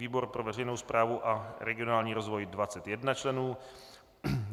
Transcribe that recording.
výbor pro veřejnou správu a regionální rozvoj 21 členů